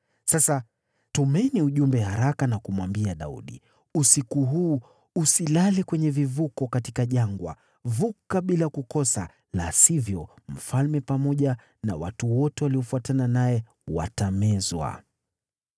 Sasa tumeni ujumbe haraka na kumwambia Daudi, ‘Usiku huu usilale kwenye vivuko katika jangwa; vuka bila kukosa, la sivyo, mfalme pamoja na watu wote waliofuatana naye watamezwa.’ ”